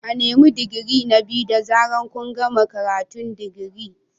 A nemi digiri na biyu da zaran kun gama karatun digiri.